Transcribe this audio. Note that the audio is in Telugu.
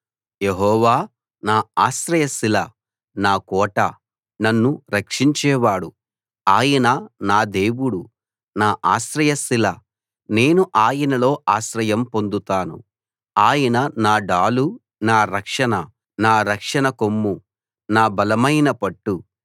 యెహోవా నా ఆశ్రయశిల నా కోట నన్ను రక్షించేవాడు ఆయన నా దేవుడు నా ఆశ్రయశిల నేను ఆయనలో ఆశ్రయం పొందుతాను ఆయన నా డాలు నా రక్షణ కొమ్ము నా బలమైన పట్టు